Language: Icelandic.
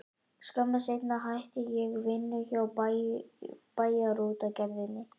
Skömmu seinna hætti ég vinnu hjá Bæjarútgerðinni.